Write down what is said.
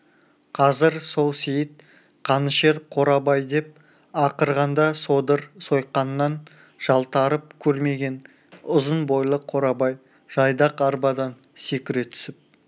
қазір сол сейіт қанішер қорабай деп ақырғанда содыр сойқаннан жалтарып көрмеген ұзын бойлы қорабай жайдақ арбадан секіре түсіп